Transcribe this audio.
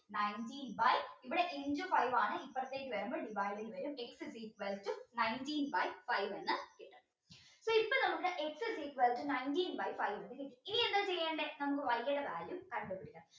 nineteen by ഇവിടെ into five ആണ് ഇപ്പറത്തേക്ക് വരുമ്പോ divide ചെയ്ത വെരും x is equal to nineteen by five ന്ന് അപ്പൊ ഇപ്പൊ നമുക്ക് x is equal to nineteen by five എന്ന കിട്ടി ഇനി എന്താ ചെയ്യണ്ടേ നമുക്ക് Y ടെ കാര്യംകണ്ട് പിടിക്കണം